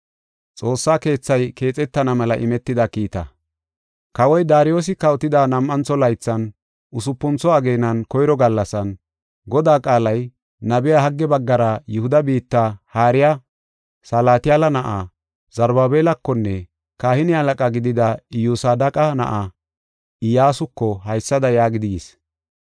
Kawoy Daariyosi kawotida nam7antho laythan, usupuntho ageenan koyro gallasan, Godaa qaalay nabiya Hagge baggara Yihuda biitta haariya Salatiyaala na7aa, Zarubaabelakonne kahine halaqa gidida Iyyosadeqa na7aa, Iyyasuko haysada yaagidi yis.